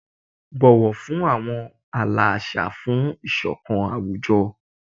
Bọwọ fun awọn aala aṣa fun isokan awujọ."